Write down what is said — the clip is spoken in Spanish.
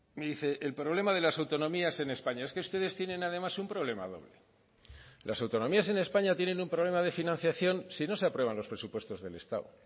me dice el problema de las autonomías en españa es que ustedes tienen además un problema doble las autonomías en españa tienen un problema de financiación si no se aprueban los presupuestos del estado